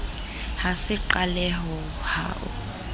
ha se qaleho ha o